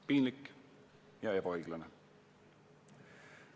Piinlik ja ebaõiglane.